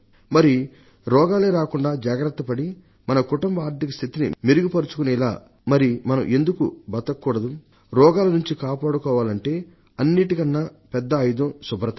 మరి రోగాలే రాకుండా జాగ్రత్తపడి మన కుటుంబ ఆర్థిక స్థితిని మెరుగుపర్చుకునేలా మనం ఎందుకని జీవించకూడదు రోగాల నుండి కాపాడుకోవాలంటే అన్నిటికన్నా పెద్ద ఆయుధం శుభ్రత